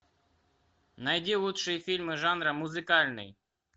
найди лучшие фильмы жанра музыкальный